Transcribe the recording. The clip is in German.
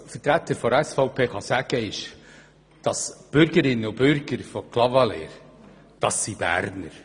Als Vertreter der SVP-Fraktion kann ich sagen, dass Bürgerinnen und Bürger von Clavaleyres Urberner sind.